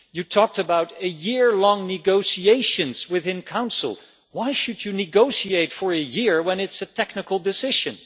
You talked about year long negotiations within Council. Why should you negotiate for a year if it is a technical decision?